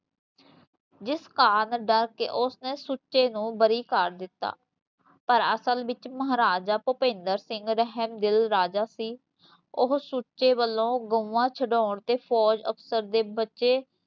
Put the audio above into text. ਜਿਸ ਕਾਰਣ ਉਸਨੇ ਸੁੱਚੇ ਨੂੰ ਬਰੀ ਕਰ ਦਿਤਾ ਪਰ ਅਸਲ ਵਿਚ ਮਹਾਰਾਜਾ ਭੁਪਿੰਦਰ ਸਿੰਘ ਰਹਿਮ ਦਿਲ ਰਾਜਾ ਸੀ ਓਹ ਸੁੱਚੇ ਵੱਲੋਂ ਗਊਆ ਛਡਾਉਣ ਤੇ ਫੌਜ ਅਫਸਰ ਦੇ ਬੱਚੇ